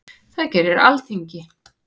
Það gerir Alþingi.